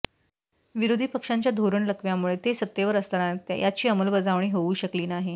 विरोधी पक्षांच्या धोरणलकव्यामुळे ते सत्तेवर असताना याची अंमलबजावणी होऊ शकली नाही